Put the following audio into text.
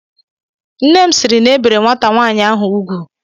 Nne m sịịrị na ebere nwata nwaanyị ahụ ugwu.